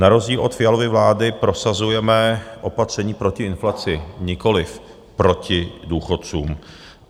Na rozdíl od Fialovy vlády prosazujeme opatření proti inflaci, nikoliv proti důchodcům.